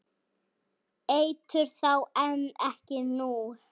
Eitur þá en ekki nú?